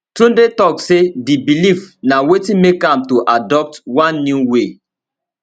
tunde tok say di believe na wetin make am to adopt one new way